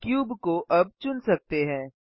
cube को अब चुन सकते हैं